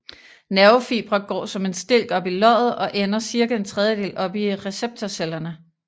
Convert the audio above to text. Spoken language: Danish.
Nervefibre går som en stilk op i løget og ender cirka en tredjedel oppe i receptorcellerne